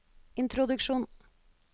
introduksjon